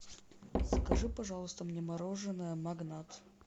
закажи пожалуйста мне мороженое магнат